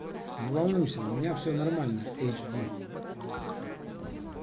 не волнуйся у меня все нормально эйч ди